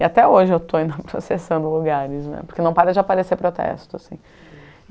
E até hoje eu estou processando lugares né, porque não para de aparecer protestos.